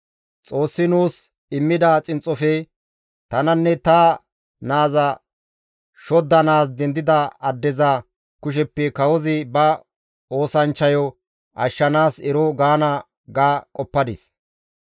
Xoossi nuus immida xinxxofe tananne ta naaza shoddanaas dendida addeza kusheppe kawozi ba oosanchchayo ashshanaas eeno gaana› ga qoppadis.